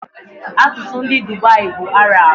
Asụsụ ndị Dubai bụ Arab